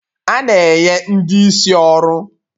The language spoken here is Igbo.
A na enye ndị isi ọrụ.